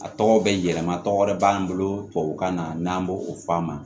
A tɔgɔ bɛ yɛlɛma tɔgɔ wɛrɛ b'an bolo tubabukan na n'an b'o o fɔ a ma